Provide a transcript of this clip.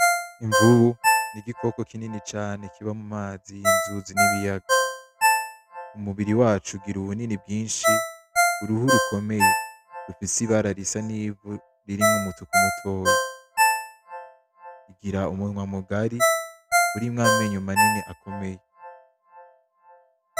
Imvubu, nigikoko kinini cane kiba mumazi, inzuzi nibiyaga. Umubiri waco ugira ubunini bwinshi, uruhu rukomeye rufise ibara risa nivu ririmwo umutuku mutoya. Igira umunwa mugari urimwo amenyo manini akomeye.